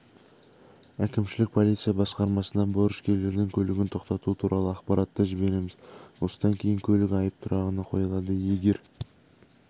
әкімшілік полиция басқармасына борышкерлердің көлігін тоқтату туралы ақпаратты жібереміз осыдан кейін көлік айып тұрағына қойылады егер